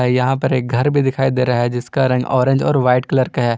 यहां पर एक घर भी दिखाई दे रहा है जिसका रंग ऑरेंज और वाइट कलर का है।